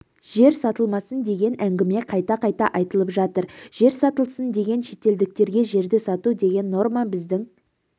жер сатылмасын деген әңгіме қайта-қайта айтылып жатыр жер сатылсын деген шетелдіктерге жерді сату деген норма біздің